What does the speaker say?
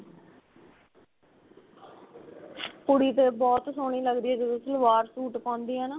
ਕੁੜੀ ਤੇ ਬਹੁਤ ਸੋਹਣੀ ਲੱਗਦੀ ਏ ਜਦੋੰ ਸਲਵਾਰ ਸੂਟ ਪਾਉਂਦੀ ਏ ਨਾ